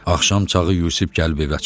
Axşam çağı Yusif gəlib evə çıxdı.